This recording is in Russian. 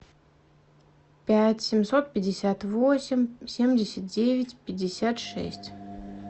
пять семьсот пятьдесят восемь семьдесят девять пятьдесят шесть